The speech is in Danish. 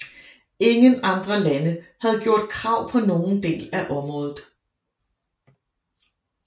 Ingen andre lande havde gjort krav på nogen del af området